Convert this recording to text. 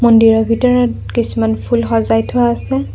মন্দিৰৰ ভিতৰত কিছুমান ফুল সজাই থোৱা আছে।